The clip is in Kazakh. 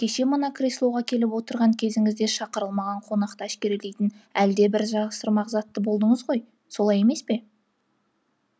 кеше мына креслоға келіп отырған кезіңізде шақырылмаған қонақты әшкерелейтін әлдебір затты жасырмақ болдыңыз ғой солай емес пе